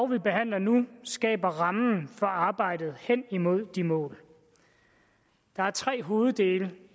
vi behandler nu skaber rammen for arbejdet hen imod de mål der er tre hoveddele